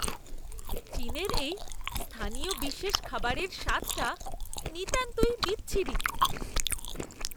চীনের এই স্থানীয় বিশেষ খাবারের স্বাদটা নিতান্তই বিচ্ছিরি।